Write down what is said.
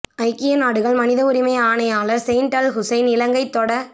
ஐக்கியநாடுகள் மனித உரிமை ஆணையா ளர் செயிட் அல் ஹுசைன் இலங்கை தொட